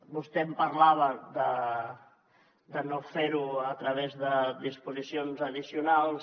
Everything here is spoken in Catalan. vostè em parlava de no fer ho a través de disposicions addicionals